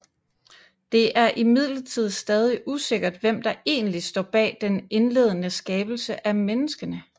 Det er imidlertid stadig usikkert hvem der egentlig står bag den indledende skabelse af menneskene